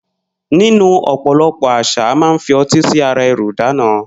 Nínú ò̩po̩lo̩pò̩ às̩à, a máa ń fi o̩tí sí ara e̩rù ìdána